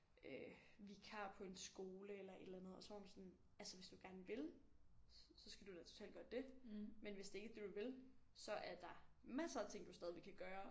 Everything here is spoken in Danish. Øh vikar på en skole eller et eller andet og så var hun sådan altså hvis du gerne vil så så skal du da totalt gøre det men hvis det ikke er det du vil så er der masser af ting du stadig kan gøre